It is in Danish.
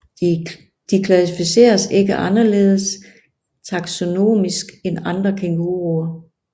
De klassificeres ikke anderledes taksonomisk end andre kænguruer